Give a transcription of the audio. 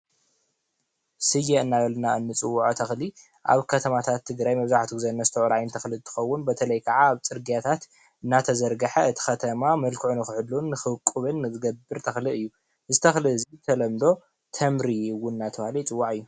ስየ እናበልና እንፅውዖ ተኽሊ አብ ከተማታት ትግራይ መብዛሕትኡ ግዜ እነስተውዕሎ ዓይነት ተኽሊ እንትኸውን፤ በተለይ ኸዓ አብ ፅርጊያታት እንዳተዘርገሐ እቲ ኸተማ መልክዑ ንክሕሉን ንክውቅብን ዝገብር ተኽሊ እዩ፡፡ እዚ ተኽሊ እዚ ብተለምዶ ተምሪ እውን እናተብሃለ ይፅዋዕ እዩ፡፡